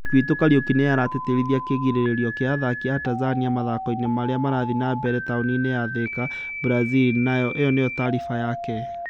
Mwandĩki witũ, Kariuki, nĩ aratĩtĩrithia kĩĩrĩgĩrĩro kĩa athaki a Tanzania mathako-inĩ marĩa marathiĩ na mbere taũni-inĩ ya Thika, Brazil, nayo ĩno nĩyo taariba yake.